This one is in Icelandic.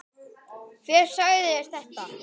Hver sagði þér þetta?